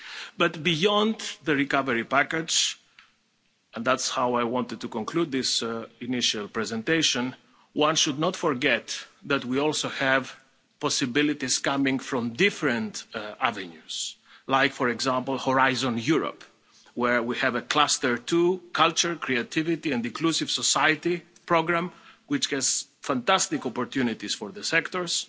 But beyond the recovery package and that's how I wanted to conclude this initial presentation one should not forget that we also have possibilities coming from different avenues, like, for example, Horizon Europe, where we have a Cluster 2 Culture, Creativity and Inclusive Society programme, which has fantastic opportunities for the sectors.